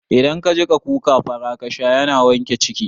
Idan ka jiƙa kuka fara kasha yana wanke ciki